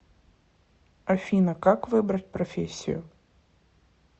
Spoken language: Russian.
афина как выбрать профессию